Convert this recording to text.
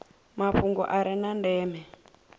mafhungo a re na ndeme